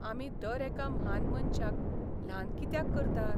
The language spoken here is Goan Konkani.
आमी दर एका म्हान मनशाक ल्हान कित्याक करतात?